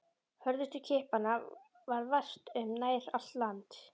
Hörðustu kippanna varð vart um nær allt land.